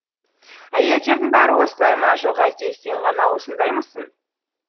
әйелдердің бәрі осылай ма жоқ әлде сен ғана осындаймысың